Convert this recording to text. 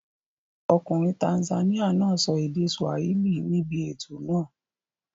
Ọkùnrin Tanzania náà sọ èdè Swahili níbi ètò náà.